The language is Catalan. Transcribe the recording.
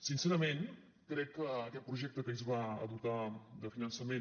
sincerament crec que aquest projecte que ahir es va dotar de finançament